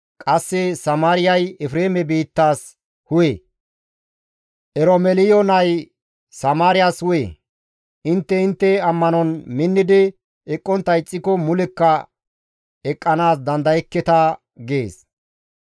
Qasse Samaariyay Efreeme biittaas hu7e; Eromeliyo nay Samaariyas hu7e; intte intte ammanon minnidi eqqontta ixxiko mulekka eqqanaas dandayekketa» gees.